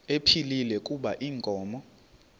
ephilile kuba inkomo